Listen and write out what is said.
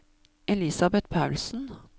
Elisabet Paulsen